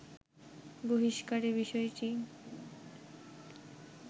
বহিষ্কারের বিষয়টি